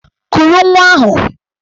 Kuru nwa ahụ!